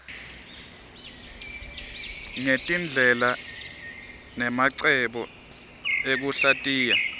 ngetindlela nemacebo ekuhlatiya